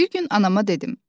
Bir gün anama dedim: